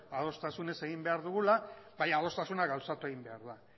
adostasunez egin behar dugula baina adostasuna gauzatu egin behar da